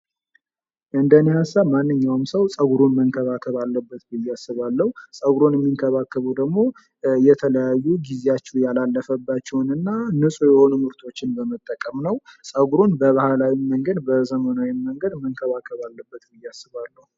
እንደኔ ሃሳብ ማንኛውም ሰው ፀጉሩን መንከባከብ አለብት ብዬ አስባለሁ። ፀጉሩን የሚንከባከበው ደግሞ የተለያዩ ጊዜያቸው ያለፈባቸውን እና ንጹህ የሆኑ ምርቶችን በመጠቀም ነው። ፀጉሩን በባህላዊም መንገድ በዘመናዊም መንገድ መንከባከብ አለበት ብዬ አስባለሁ።